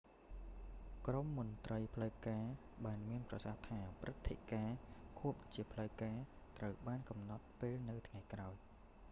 ក្រុមមន្ត្រីផ្លូវការបានមានប្រសាសន៍ថា ព្រឹត្តិការណ៍ខួបជាផ្លូវការមួយ ត្រូវបានកំណត់ពេលនៅថ្ងៃក្រោយ